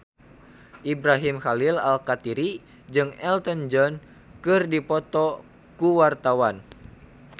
Ibrahim Khalil Alkatiri jeung Elton John keur dipoto ku wartawan